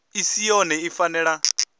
i si yone i fanela